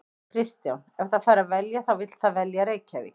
Kristján: Ef það fær að velja þá vill það velja Reykjavík?